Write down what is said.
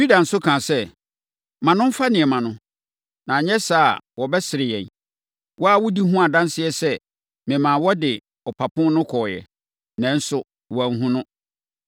Yuda nso kaa sɛ, “Ma no mfa nneɛma no, na anyɛ saa a wɔbɛsere yɛn. Wo ara wodi ho adanseɛ sɛ memaa wode ɔpapo no kɔeɛ, nanso woanhunu no.”